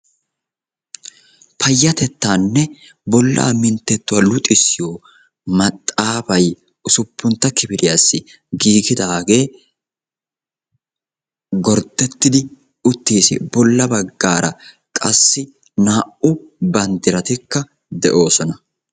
Payyatettaanne bollaa minttettuwa luxissiyo maxxaafay usuppuntta kifiliyassi giigidaagee gorddettidi uttiisi. Bolla baggaara qassi naa''u banddiratikka de'oosona.